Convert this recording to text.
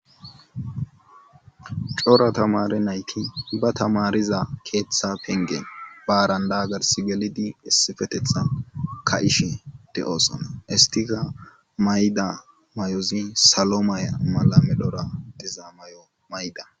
Cora tamare nayki ba tamariza keeththa pengen baarandaagars gelidi issifetethan ka7ishi de7osana istiga mayda mayozi salo maya mala medora dizaa mayo mayda